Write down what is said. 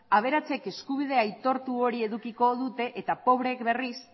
aberatsek eskubide aitortu hori edukiko dute eta pobreek berriz